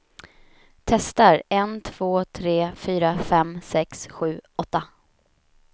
Testar en två tre fyra fem sex sju åtta.